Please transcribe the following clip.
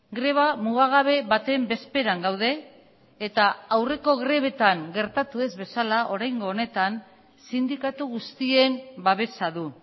greba mugagabe baten bezperan gaude eta aurreko grebetan gertatu ez bezala oraingo honetan sindikatu guztien babesa du